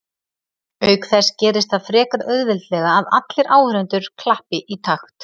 auk þess gerist það frekar auðveldlega að allir áhorfendur klappi í takt